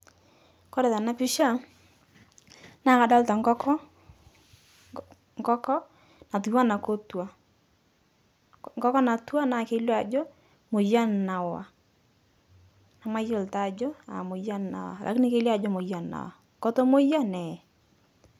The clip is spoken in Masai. Kore tana pisha, naa kadolita nkoko, nkoko natuwana kotwa, nkoko natwa naa kelio ajo moyian nawa, namayiolo taa ajo aa moyian nawa lakini kelio ajo moyian nawa kotomoyia neye.